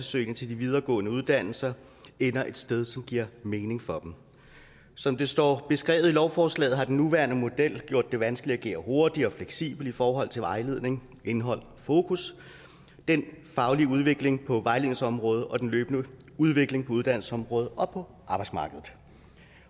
søgning til de videregående uddannelser ender et sted som giver mening for dem som det står beskrevet i lovforslaget har den nuværende model gjort det vanskeligt at agere hurtigt og fleksibelt i forhold til vejledningens indhold og fokus den faglige udvikling på vejledningsområdet og den løbende udvikling på uddannelsesområdet og på arbejdsmarkedet